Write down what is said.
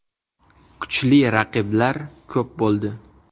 Kuchli raqiblar ko‘p bo‘ldi.